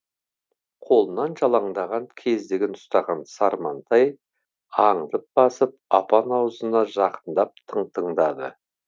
қолына жалаңдаған кездігін ұстаған сармантай аңдып басып апан аузына жақындап тың тыңдады